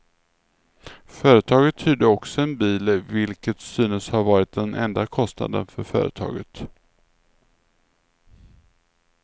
Företaget hyrde också en bil, vilket synes ha varit den enda kostnaden för företaget.